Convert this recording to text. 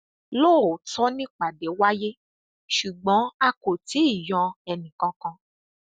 lóòótọ nìpàdé wáyé ṣùgbọn a kò tí ì yọ ẹnìkankan